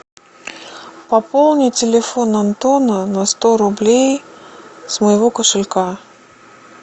пополни телефон антона на сто рублей с моего кошелька